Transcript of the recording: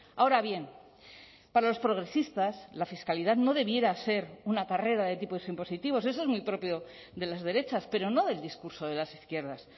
ahora bien para los progresistas la fiscalidad no debiera ser una carrera de tipos impositivos eso es muy propio de las derechas pero no del discurso de las izquierdas